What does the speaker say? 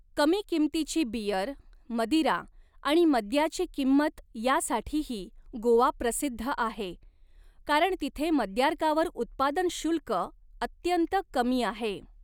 कमी किमतीची बियर, मदिरा आणि मद्याची किंमत यासाठीही गोवा प्रसिद्ध आहे, कारण तिथे मद्यार्कावर उत्पादन शुल्क अत्यंत कमी आहे.